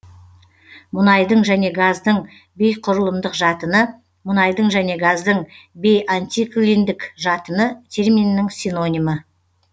мұнайдың және газдың бейқұрылымдық жатыны мұнайдың және газдың бейантиклиндік жатыны терминінің синонимі